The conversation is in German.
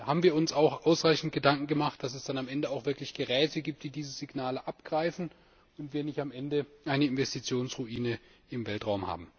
Also haben wir uns auch ausreichend Gedanken gemacht, damit es dann am Ende auch wirklich Geräte gibt, die diese Signale abgreifen, und wir nicht am Ende eine Investitionsruine im Weltraum haben.